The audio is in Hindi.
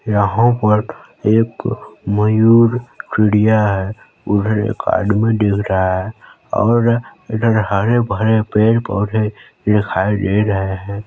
यहाँ पर एक मयूर चिड़िया है उधर एक आदमी दिख रहा है और इधर हरे -भरे पेड़ -पौधे दिखाई दे रहे हैं।